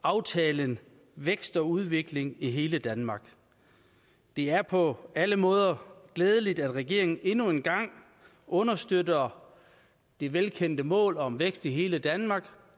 aftalen vækst og udvikling i hele danmark det er på alle måder glædeligt at regeringen endnu en gang understøtter det velkendte mål om vækst i hele danmark